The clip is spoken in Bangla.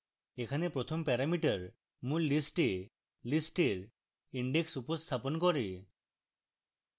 এখানে প্রথম প্যারামিটার মূল list এ list এর index উপস্থাপন করে